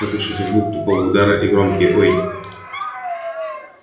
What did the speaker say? послышался звук тупого удара и громкие ой